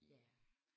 Ja